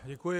Děkuji.